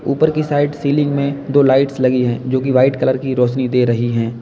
ऊपर की side ceiling में दो लाइट्स लगी हैं जो की वाइट कलर की रोशनी दे रही हैं।